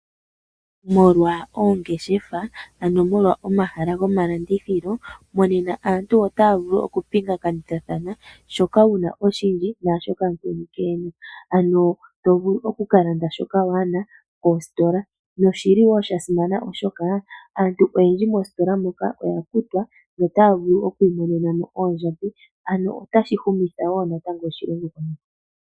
Molwa oongeshefa ano molwa omahala golandithilo monena aantu otaya vulu oku pingane kithathana shoka wuna oshindji naashoka mukweni ke ena . Ano tovulu oku kalanda shoka waana kositola . Noshili wo shasimana oshoka aantu oyendji moositola moka oyakutwa notaya vulu okwii monena mo oondjodhi . Ano otashi humitha wo natango.